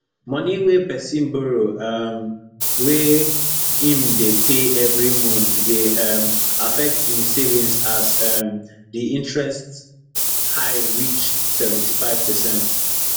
money wey pesin borrow um wey em dey pay every month dey um affect em savings as um the interest high reach seventy five percent